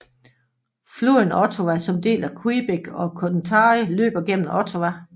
Floden Ottawa som deler Quebec og Ontario løber gennem Ottawa